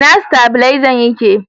ina stabilezan yake?